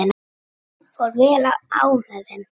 Fór vel á með þeim.